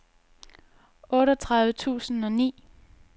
otteogtredive tusind og ni